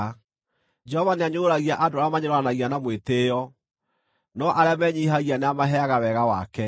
Jehova nĩanyũrũragia andũ arĩa manyũrũranagia na mwĩtĩĩo, no arĩa menyiihagia nĩamaheaga wega wake.